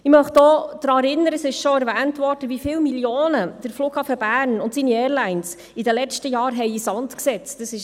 Ich möchte auch daran erinnern – es wurde schon erwähnt –, wie viele Millionen Franken der Flughafen Bern und seine Airlines in den letzten Jahren in den Sand gesetzt haben.